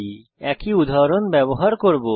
আমি একই উদাহরণ ব্যবহার করব